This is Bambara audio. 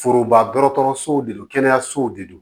Foroba dɔgɔtɔrɔso de don kɛnɛyasow de don